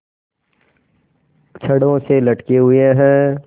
छड़ों से लटके हुए हैं